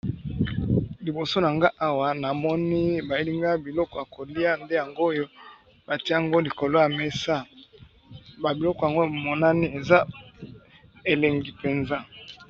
Libido nanfai Awa ñamoni bayeli Nagai Biko yakolia Biko tango eze elengi penza